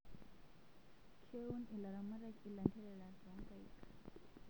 Keun ilaramatak ilanterera toonkaik